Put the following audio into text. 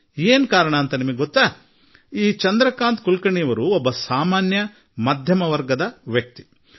ಕಾರಣ ಏನೆಂದು ನಿಮಗೆ ತಿಳಿದಿದೆಯೇ ಈ ಚಂದ್ರಕಾಂತ್ ಕುಲಕರ್ಣಿ ಒಬ್ಬ ಸಾಮಾನ್ಯ ಮಧ್ಯಮ ವರ್ಗದ ಕುಟುಂಬದ ವ್ಯಕ್ತಿ